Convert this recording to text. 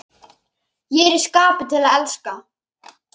Ég er í skapi til að elska!